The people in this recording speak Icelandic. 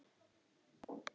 Boltinn fór inn.